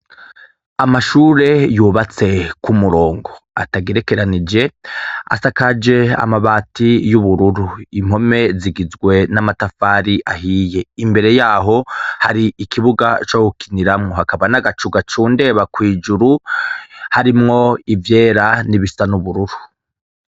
Amashuri yubatse ku murongo agerekeranije, Asakaje amabati y'ubururu impome zigizwe n'amatafari ahiye imbere yaho hari ikibuga co gukiniramwo hakaba n'agacu gacundeba kw'ijuru harimwo ivyera nibisa n'ubururu.